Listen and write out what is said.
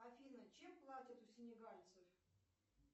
афина чем платят у сенегальцев